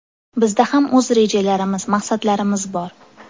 Bizda ham o‘z rejalarimiz, maqsadlarimiz bor.